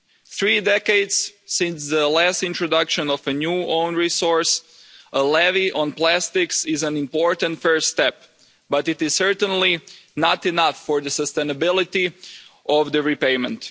Three decades since the last introduction of a new own resource, a levy on plastics is an important first step but it is certainly not enough for the sustainability of the repayment.